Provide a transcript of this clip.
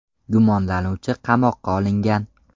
Gumonlanuvchi qamoqqa olingan.